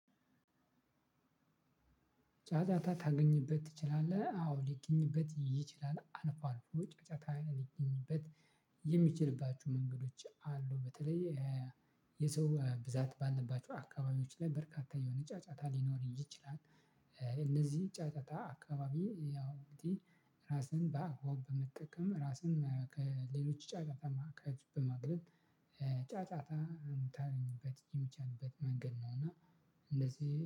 ጫጫታ ታገኝበት ትችላለህ አዎ ሊገኝበት ይችላል አልፎ አልፎ ጫጫታ ሊገኝበት የሚችልባችሁ መንገዶች አሉ። በተለይ የሰው ብዛት ባለባቸው አካባቢዎች ላይ በርካታ የሆነ ጫጫታ ሊኖር ይችላል። እነዚህ ጫጫታ አካባቢ ያው እንግዲህ ራስን በአግባቡ በመጠቀም ራስን ከሌሎች ጫጫታማ አካባቢ በማግለል። ጫጫታ የምታገኝበት የሚቻልበት መንገድ ነው እና እንደዚህ